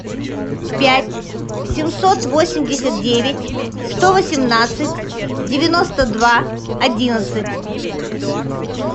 пять семьсот восемьдесят девять сто восемнадцать девяносто два одиннадцать